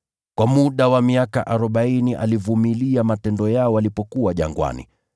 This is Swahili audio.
Kwa muda wa miaka arobaini alivumilia matendo yao walipokuwa jangwani.